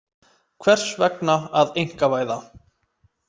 Hvers vegna að einkavæða?